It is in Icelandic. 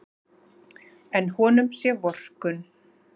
En honum sé vorkunn.